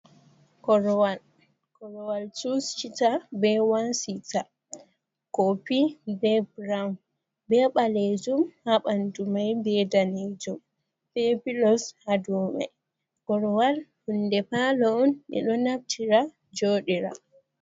Koruwal. Kuruwal chus chita be one sita, kopi be burown, be ɓalejum ha ɓandu mai, be danejum, be pilos ha dow mai. Koruwal hunde palo on ɓe ɗo naftira jooɗira.